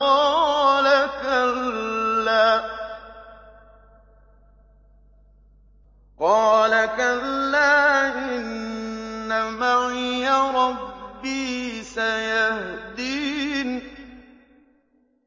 قَالَ كَلَّا ۖ إِنَّ مَعِيَ رَبِّي سَيَهْدِينِ